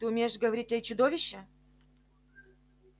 ты умеешь говорить эй чудовище